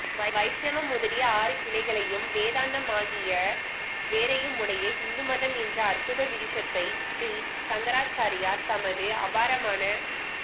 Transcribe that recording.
வைஷ்ணவம் முதலிய ஆறு கிளைகளையும் வேதாந்தமாகிய வேரையுமுடைய ஹிந்து மதம் என்ற அற்புத விருஷத்தை ஸ்ரீ சங்கராச்சாரியார் தமது அபாரமான